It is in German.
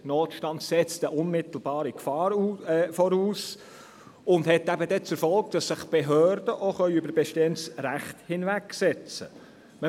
Ein Notstand setzt eine unmittelbare Gefahr voraus und hat zur Folge, dass sich Behörden über bestehendes Recht hinwegsetzen können.